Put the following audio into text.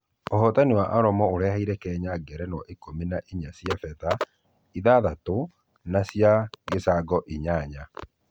Ũhotani wa aromo ũreheire kenya ngerenwa ikũmi na inya cia fedha ithathatũ na cia gĩcango inyanya